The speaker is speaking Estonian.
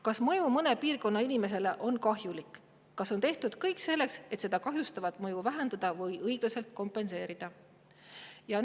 Kas mõju mõne piirkonna inimesele on kahjulik ja kas on tehtud kõik selleks, et seda kahjustavat mõju vähendada või õiglaselt kompenseerida?